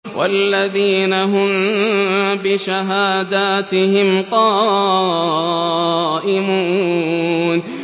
وَالَّذِينَ هُم بِشَهَادَاتِهِمْ قَائِمُونَ